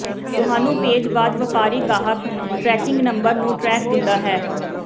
ਤੁਹਾਨੂੰ ਭੇਜ ਬਾਅਦ ਵਪਾਰੀ ਗਾਹਕ ਟਰੈਕਿੰਗ ਨੰਬਰ ਨੂੰ ਟਰੈਕ ਦਿੰਦਾ ਹੈ